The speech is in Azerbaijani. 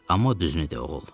Amma o düzünü de, oğul.